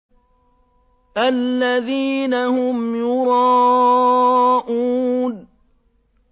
الَّذِينَ هُمْ يُرَاءُونَ